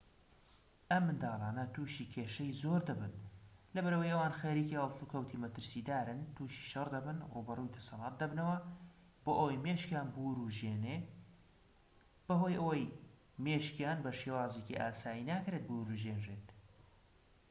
ئەم منداڵانە تووشی کێشەی زۆر دەبن لەبەرئەوەی ئەوان خەریکی هەڵسوکەوتی مەترسیدارن تووشی شەڕ دەبن ڕووبەڕووی دەسەلات دەبنەوە بۆ ئەوەی مێشکیان بورژێنێ بەهۆی ئەوەی مێشکیان بە شێوازی ئاسایی ناکرێت بورژێنرێت